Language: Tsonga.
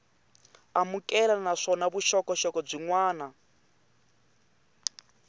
amukeleka naswona vuxokoxoko byin wana